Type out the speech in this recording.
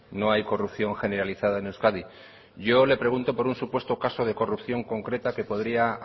no hay corrupción generalizada en euskadi yo le pregunto por un supuesto caso de corrupción concreta que podría